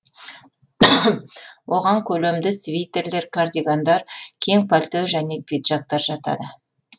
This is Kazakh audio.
оған көлемді свитерлер кардигандар кең пальто және пиджактар жатады